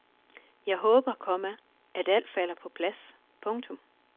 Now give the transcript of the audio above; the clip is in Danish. Jeg håber, komma at alt falder på plads. punktum